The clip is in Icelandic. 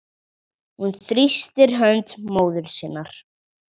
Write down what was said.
Hún þrýstir hönd móður sinnar.